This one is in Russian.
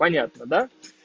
понятно да